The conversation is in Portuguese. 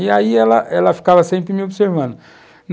E aí ela ela ficava sempre me observando.